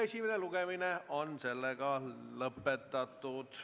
Esimene lugemine on lõppenud.